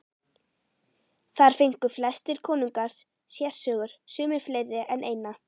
Þar fengu flestir konungar sérsögur, sumir fleiri en eina.